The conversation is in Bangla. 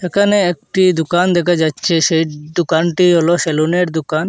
একানে একটি দুকান দেখা যাচ্ছে সেই দুকানটি হল সেলুনের দুকান।